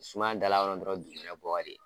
Sumaya da la kɔrɔ dɔrɔn dugumɛnɛ bɔ ka di.